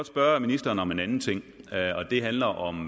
spørge ministeren om en anden ting og det handler om